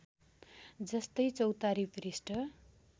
जस्तै चौतारी पृष्ठ